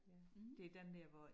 Det den der hvor